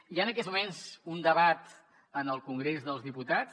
hi ha en aquests moments un debat en el congrés dels diputats